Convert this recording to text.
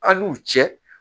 A' n'u cɛ